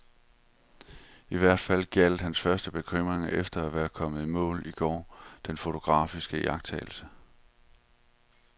I hvert fald gjaldt hans første bekymring efter at være kommet i mål i går denne fotografiske iagttagelse.